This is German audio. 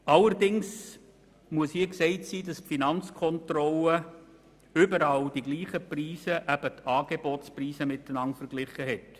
Allerdings muss gesagt sein, dass die Finanzkontrolle überall dieselben Preise, eben die Angebotspreise, miteinander verglichen hat.